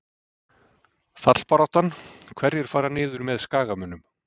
Fallbaráttan- Hverjir fara niður með Skagamönnum?